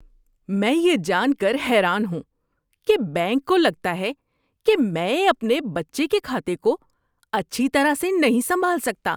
میں یہ جان کر حیران ہوں کہ بینک کو لگتا کہ میں اپنے بچے کے کھاتے کو اچھی طرح سے نہیں سنبھال سکتا۔